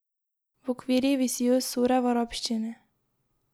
V okvirjih visijo sure v arabščini.